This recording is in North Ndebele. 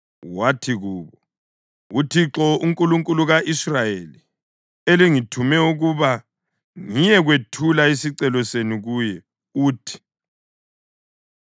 Wathi kubo, “UThixo, uNkulunkulu ka-Israyeli, elingithume ukuba ngiyekwethula isicelo senu kuye, uthi: